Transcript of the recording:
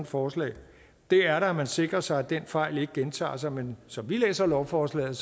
forslag er da at man sikrer sig at den fejl ikke gentager sig men som vi læser lovforslaget